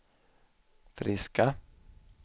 friska